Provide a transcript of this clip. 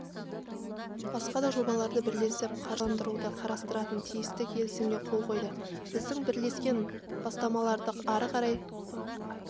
басқа да жобаларды бірлесіп қаржыландыруды қарастыратын тиісті келісімге қол қойды біздің бірлескен бастамаларды ары қарай